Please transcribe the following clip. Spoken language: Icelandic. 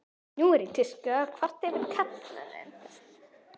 Nú er í tísku að kvarta yfir karlmönnum.